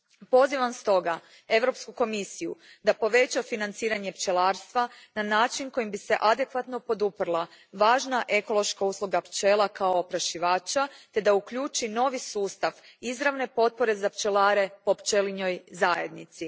Pozivam stoga Europsku komisiju da poveća financiranje pčelarstva na način kojim bi se adekvatno poduprla važna ekološka usluga pčela kao oprašivača te da uključi novi sustav izravne potpore za pčelare po pčelinjoj zajednici.